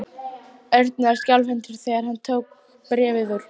Örn var skjálfhentur þegar hann tók bréfið úr.